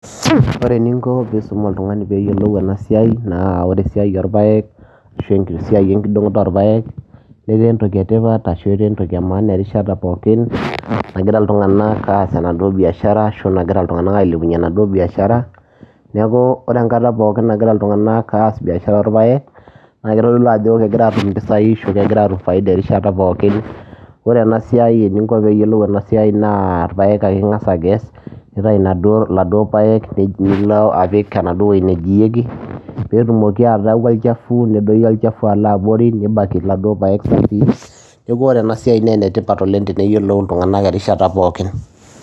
Wore eninko pii isum oltungani peeyolu enasiai, naa wore esiai orpayiek ashu esiai enkidongoto orpayiek netaa entoki etipat ashu etaa entoki emaana erishata pookin nagira iltunganak aas enaduo biashara ashu nigira iltunganak ailepunye enaduo biashara, niaku wore enkata pookin nagira iltunganak aas biashara orpayiek naa kitodolu ajo kegira atum impisai ashu kegira atum faida erishata pookin. Wore enasiai eninko piyolou enasiai naa irpayiek ake ingas akes , nintayu ildauo payiek nilo apik enaduo weji nijiyeki peetumoki ataaku olchafu nedoyio olchafu alo abori nibaki laduo payiek safii, niaku wore enasiai naa enetipat oleng teneyolou iltunganak erishata pookin.